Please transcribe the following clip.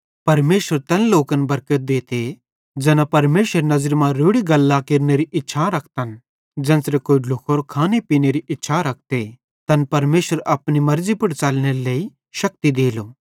परमेशर तैन लोकन बरकत देते ज़ैना परमेशरेरी नज़री मां रोड़ी गल्लां केरनेरी बड़ी इच्छा रखतन ज़ेन्च़रे कोई ढ्लुखोरो खाने पीनेरी इच्छा रखते तैन परमेशर अपनी मेर्ज़ी पुड़ च़लनेरे लेइ शक्ति देते